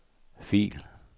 fil